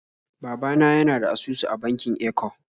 Baba na yana da asusu a bankin Eco